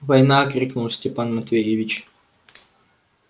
война крикнул степан матвеевич